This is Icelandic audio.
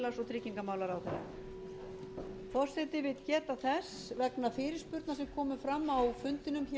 forseti vill geta þess vegna fyrirspurna sem komu fram á fundinum hér